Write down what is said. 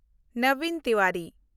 Nabin Tiwari